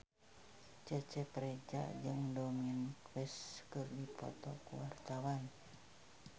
Cecep Reza jeung Dominic West keur dipoto ku wartawan